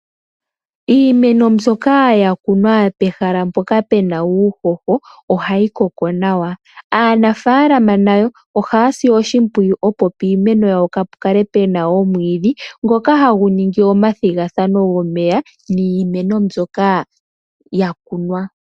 Iimeno mbyoka yakunwa pehala mpoka pu na uuhoho, ohayi koko nawa. Aanafalama nayo ohaya si oshimpwiyu opo piimeno yawo kaapu kale pu na omwiidhi ngoka hagu ningi omathigathano gomeya niimeno mbyoka yakunwa.